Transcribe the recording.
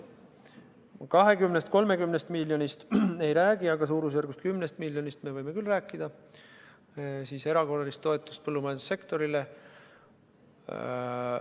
20–30 miljonist me ei räägi, aga umbes 10 miljonist erakorralisest toetusest põllumajandussektorile võime rääkida küll.